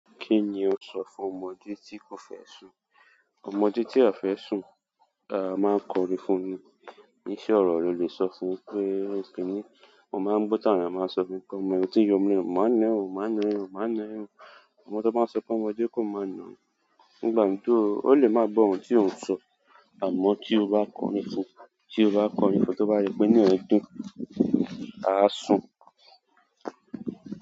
Kí ni o sọ fún ọmọdé tí kò fẹ́ sùn? Ọmọdé tí a fẹ sùn, a máa ń kọrin fún ni. Iṣe ọ̀ro rẹ lè sọ fún pé, "kí ni?" Mọ máa ń gbo tàà àwọn eyan máa ń sọ, "kọ́mọ ẹyin, tí o ń mú ọ̀nà, máa na ẹ́, máa na ẹ́, máa na ẹ́." Ọmọ tó bá ń so pé ọmọdé kò máa nà án. Nígbà tó, ó le máa gbó ohun tí òun ń sọ. Àmọ́ tí o bá kọrin fún, tí o bá kọrin fún, tó bá se pé inú e dùn á sùn.